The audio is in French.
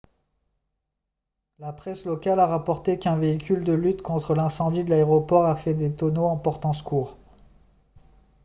la presse locale a rapporté qu'un véhicule de lutte contre l'incendie de l'aéroport a fait des tonneaux en portant secours